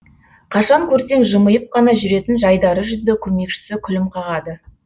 қашан көрсең жымиып қана жүретін жайдары жүзді көмекшісі күлім қағады